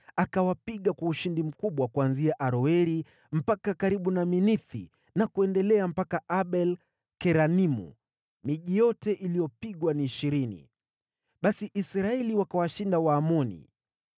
Akawapiga kwa ushindi mkubwa kuanzia Aroeri mpaka karibu na Minithi na kuendelea mpaka Abel-Keramimu, miji yote iliyopigwa ni ishirini. Basi Israeli wakawashinda Waamoni.